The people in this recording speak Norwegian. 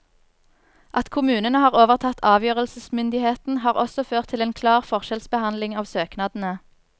At kommunene har overtatt avgjørelsesmyndigheten, har også ført til en klar forskjellsbehandling av søknadene.